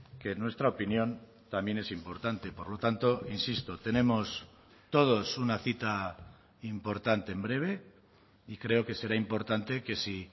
que en nuestra opinión también es importante por lo tanto insisto tenemos todos una cita importante en breve y creo que será importante que si